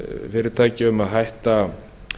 fyrirtækja um að hætta